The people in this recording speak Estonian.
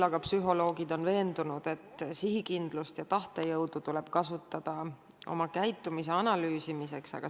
Psühholoogid on veendunud, et sihikindlust ja tahtejõudu tuleb kasutada ka oma käitumise analüüsimiseks.